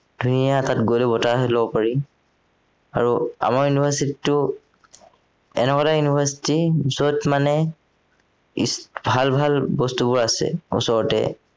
ধুনীয়া তাত গলে বতাহ লব পাৰি আৰু আমাৰ university টো এনেকুৱা এটা university যত মানে ইচ ভাল ভাল বস্তুবোৰ আছে উচৰতে